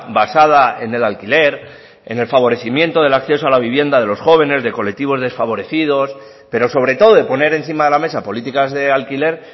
basada en el alquiler en el favorecimiento del acceso a la vivienda de los jóvenes de colectivos desfavorecidos pero sobre todo de poner encima de la mesa políticas de alquiler